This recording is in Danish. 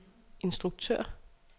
instruktør